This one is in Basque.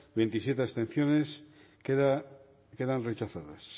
berrogeita bi contra hogeita zazpi abstentzio quedan rechazadas